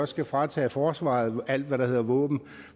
skal fratage forsvaret alt hvad der hedder våben